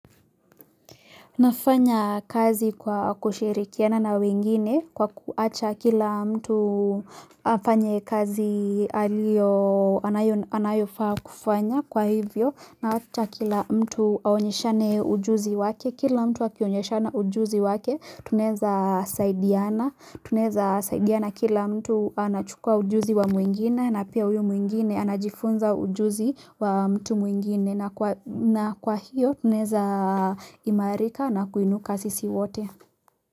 Nafanya kazi kwa kushirikiana na wengine kwa kuacha kila mtu afanye kazi alio anayofaa kufanya kwa hivyo na wacha kila mtu aonyesha na ujuzi wake, kila mtu akionyeshana ujuzi wake tuneza saidiana Tuneza saidiana kila mtu anachukua ujuzi wa mwingine na pia uyu mwingine anajifunza ujuzi wa mtu mwingine na kwa hiyo tunaweza imarika na kuinuka sisi wote.